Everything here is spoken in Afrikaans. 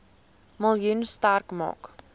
miljoen sterk maak